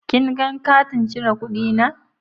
kin gan katin cire kudi na?